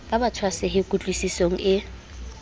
ba ba tshwasehe kutlwisisong e